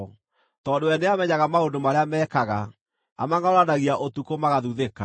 Tondũ we nĩamenyaga maũndũ marĩa meekaga, amangʼaũranagia ũtukũ magathuthĩka.